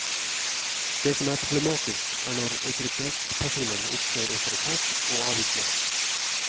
Det som er problematisk, er når autoritetspersonen opptrer autoritært og avvisende.